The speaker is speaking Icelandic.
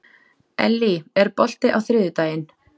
Ellý, er bolti á þriðjudaginn?